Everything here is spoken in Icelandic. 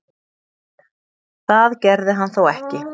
Það gerði hann þó ekki.